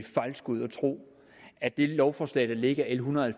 fejlskud at tro at dette lovforslag l en hundrede og